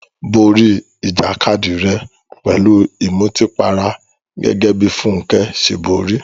Borí ìjàkadì rẹ pẹ̀lú ìmutípara gẹ́gẹ́ bí Funke ṣe borí.